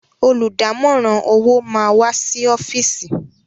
Olùdámọ̀ràn owó máa wá sí ọ́fìsì.